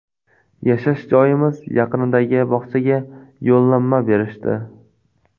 Yashash joyimiz yaqinidagi bog‘chaga yo‘llanma berishdi.